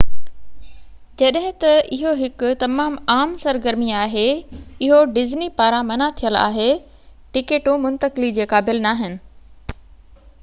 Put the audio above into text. جڏهن ته اهو هڪ تمام عام سرگرمي آهي اهو ڊزني پاران منع ٿيل آهي ٽڪيٽون منتقلي جي قابل ناهن